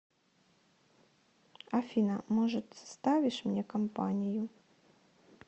афина может составишь мне компанию